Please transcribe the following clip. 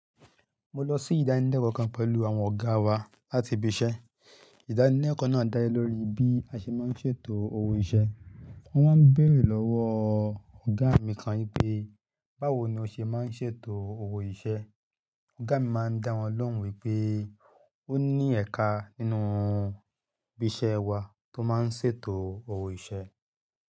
Mo lọ sí ìdánilẹ́kọ̀ọ́ kan pẹ̀lú àwọn ọ̀gá wa láti ibi-iṣẹ́. Ìdánilẹ́kọ̀ọ́ náà dá ẹ lórí bí a ṣe máa ń ṣètò ohun iṣẹ́. Wọ́n máa ń bèèrè lọ́wọ́ ọ̀gá mi kan pé, báwo ni ó ṣe máa ń ṣètò owó iṣẹ́? Ọ̀gá mi máa ń dá wọn lóhùn wípé ó ní ẹ̀ka nínú ibi-iṣẹ́ wa tó máa ń ṣètò owó iṣẹ́